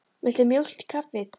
Viltu mjólk í kaffið?